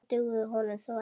Það dugði honum þó ekki.